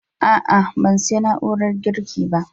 A'a, ban siya na'urar girki ba